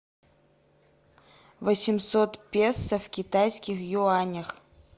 восемьсот песо в китайских юанях